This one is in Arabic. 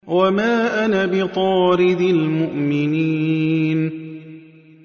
وَمَا أَنَا بِطَارِدِ الْمُؤْمِنِينَ